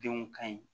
Denw ka ɲi